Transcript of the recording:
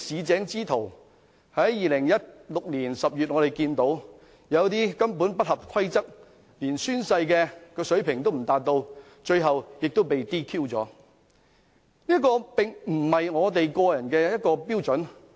在2016年10月，我們看見有些人根本不合規則，連作出宣誓的水平也未達到，而他們最終亦被 "DQ"。